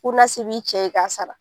n'a se b'i cɛ ye i k'a sara